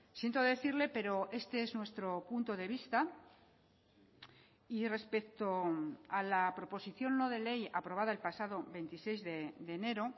siento decirle pero este es nuestro punto de vista y respecto a la proposición no de ley aprobada el pasado veintiséis de enero